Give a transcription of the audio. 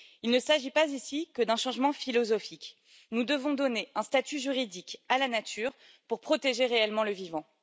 Il ne s'agit pas ici que d'un changement philosophique nous devons donner un statut juridique à la nature pour protéger réellement le vivant.